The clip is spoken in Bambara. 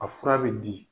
A fura bɛ di